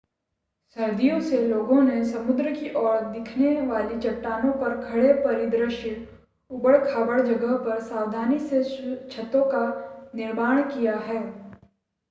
सदियों से लोगों ने समुद्र की ओर देखने वाली चट्टानों पर खड़े परिदृश्य ऊबड़-खाबड़ जगह पर सावधानी से छतों का निर्माण किया है